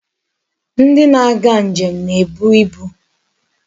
Ndi na-aga njem na-ebu ibu.